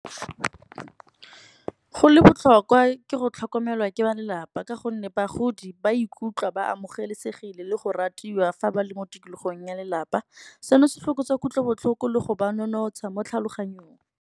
Go le botlhokwa ke go tlhokomelwa ke ba lelapa. Ka gonne bagodi ba ikutlwe ba amogelesegile le go ratiwa fa ba le mo tikologong ya lelapa. Seno se fokotsa kutlobotlhoko le go ba nonotsha mo tlhaloganyong.